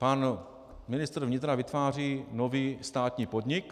Pan ministr vnitra vytváří nový státní podnik.